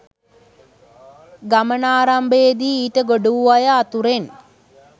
ගමනාරම්භයේදී ඊට ගොඩ වූ අය අතුරෙන්